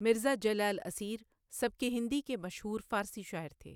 مرزا جلال اسیر سبک ہندی کے مشہور فارسی شاعر تھے۔